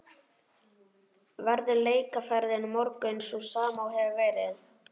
Verður leikaðferðin á morgun sú sama og hefur verið?